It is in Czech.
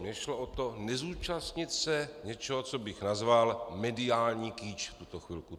Mně šlo o to, nezúčastnit se něčeho, co bych nazval mediální kýč v tuto chvilku.